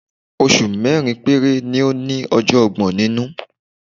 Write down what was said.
Oṣù mẹ́rin péré ni ó ní ọjọ́ ọgbọ̀n nínú.